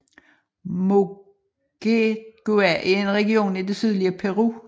Moquegua er en region i det sydlige Peru